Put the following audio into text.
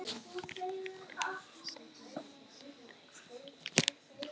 Nei, takk, ég reyki ekki